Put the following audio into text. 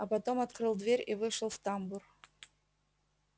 а потом открыл дверь и вышел в тамбур